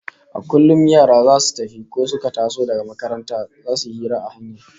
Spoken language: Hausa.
A kullum yara zasu tafi ko suka taso daga makaranta zasu yi hira a hanya